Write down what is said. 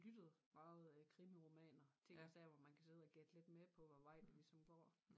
Lyttet meget øh krimiromaner ting og sager hvor man kan sidde og gætte lidt med på hvad vej det ligesom går